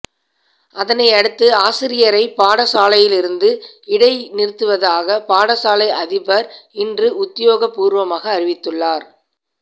அதனையடுத்து ஆசிரியரை பாடசாலையிலிருந்து இடைநிறுத்துவதாக பாடசாலை அதிபர் இன்று உத்தியோகபூர்வமாக அறிவித்துள்ளார்